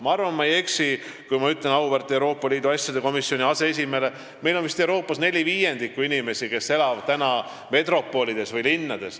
Ma arvan, et ma ei eksi, kui ma ütlen auväärt Euroopa Liidu asjade komisjoni aseesimehele: Euroopas elab vist neli viiendikku inimestest metropolides või linnades.